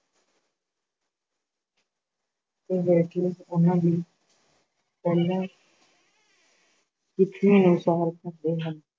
ਤੇ ਹੇਠਲੇ ਉਹਨਾਂ ਦੀ ਪਹਿਲੀ ਰੀਤੀ ਅਨੁਸਾਰ ਕਰਦੇ ਹਨ।